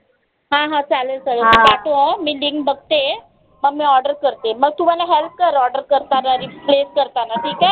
हा हा चालेल तू पाठव मी link बघते मग मी order करते. मग तू मला help कर order करतांना करताना